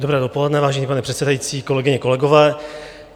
Dobré dopoledne, vážený pane předsedající, kolegyně, kolegové.